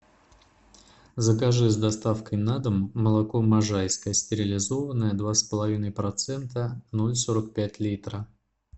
закажи с доставкой на дом молоко можайское стерилизованное два с половиной процента ноль сорок пять литра